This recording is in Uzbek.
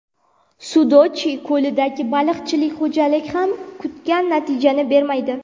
Sudochye ko‘lidagi baliqchilik xo‘jaligi ham kutgan natijani bermaydi.